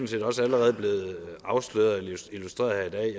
set også allerede blevet afsløret eller illustreret her